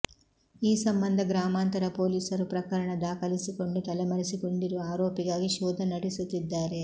ಈ ಸಂಬಂಧ ಗ್ರಾಮಾಂತರ ಪೊಲೀಸರು ಪ್ರಕರಣ ದಾಖಲಿಸಿಕೊಂಡು ತಲೆಮರೆಸಿಕೊಂಡಿರುವ ಆರೋಪಿಗಾಗಿ ಶೋಧ ನಡೆಸುತ್ತಿದ್ದಾರೆ